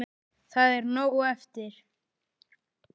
Það er nóg eftir.